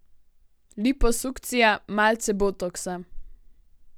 Liposukcija, malce botoksa.